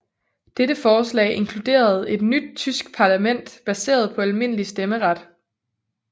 Dette forslag inkluderede et nyt tysk parlament baseret på almindelig stemmeret